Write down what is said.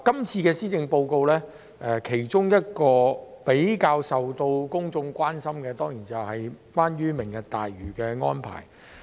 這份施政報告較受公眾關注的當然是有關"明日大嶼"的安排。